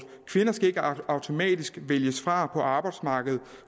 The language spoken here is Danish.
kvinder skal ikke automatisk vælges fra på arbejdsmarkedet